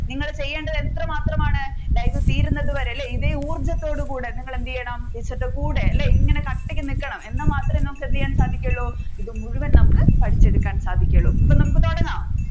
നിങ്ങൾ ചെയ്യേണ്ടത് എത്ര മാത്രമാണ് live തീരുന്നത് വരെ അല്ലെ ഇതേ ഊർജത്തോട് കൂടെ നിങ്ങൾ എന്ത് ചെയ്യണം ടീച്ചറുടെ കൂടെ ഇങ്ങനെ കട്ടക്ക് നിൽക്കണം എന്നാൽ മാത്രമേ നമ്മുക്ക് എന്ത് ചെയ്യാൻ സാധിക്കുകയുള്ളു ഇത് മുഴുവൻ പഠിച്ചെടുക്കാൻ സാധിക്കുകയുള്ളു അപ്പൊ നമ്മുക്ക് തുടങ്ങാം